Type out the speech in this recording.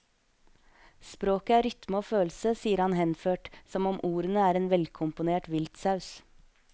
Språket er rytme og følelse, sier han henført, som om ordene er en velkomponert viltsaus.